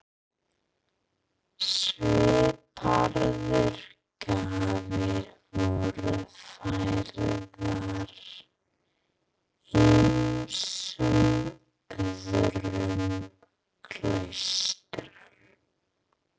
Svipaðar gjafir voru færðar ýmsum öðrum klaustrum.